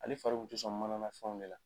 Ale fari kun ti sɔn mananafɛnw de la.